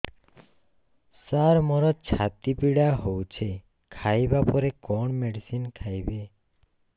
ସାର ମୋର ଛାତି ପୀଡା ହଉଚି ଖାଇବା ପରେ କଣ ମେଡିସିନ ଖାଇବି